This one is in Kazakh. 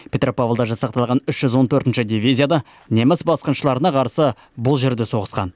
петропавлда жасақталған үш жүз он төртінші атқыштар дивизиясы да неміс басқыншыларына қарсы бұл жерде соғысқан